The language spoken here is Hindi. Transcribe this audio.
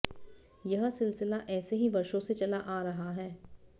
यह सिलसिला ऐसे ही वर्षों से चला आ रहा है